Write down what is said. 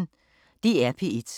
DR P1